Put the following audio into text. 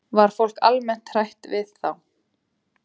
Var fólk almennt hrætt við þá?